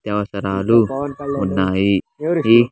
నిత్య అవసరాలు ఉన్నాయి ఈ.